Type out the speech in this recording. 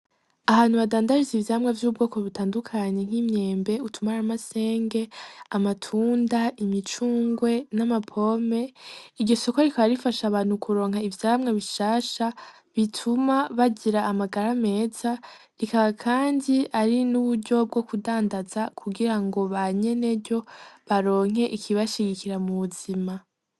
Ahantu badandariza ivyamwa vy'ubwoko butandukanye nk'imyembe ,utumaramasenge ,amatunda ,imicungwe n'amapome iryo soko rikaba rifsaha abantu kuronk 'ivyamwa bishasha bituma bagir 'amagara meza ,bikaba kandi ari n 'uburyo bwokudandaza kugirango banyeneryo baronke ikbashigikira m'ubuzima.